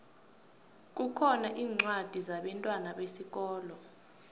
kukhona incwadi zabentwana besikolo